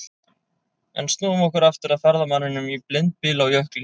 En snúum okkur aftur að ferðamanninum í blindbyl á jökli.